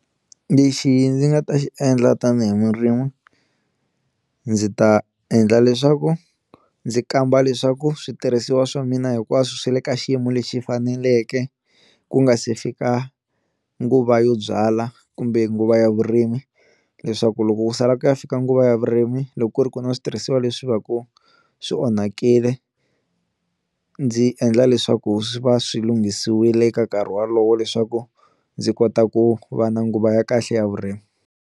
Lexi ndzi nga ta xi endla tanihi murimi ndzi ta endla leswaku ndzi kamba leswaku switirhisiwa swa mina hinkwaswo swi le ka xiyimo lexi faneleke ku nga se fika nguva yo byala kumbe nguva ya vurimi, leswaku loko ku sala ku ya fika nguva ya vurimi loko ku ri ku na switirhisiwa leswi va ku swi onhakile ndzi endla leswaku swi va swi lunghisiwile eka nkarhi walowo leswaku ndzi kota ku va na nguva ya kahle ya vurimi.